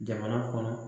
Jamana kɔnɔ